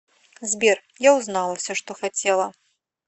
сбер я узнала все что хотела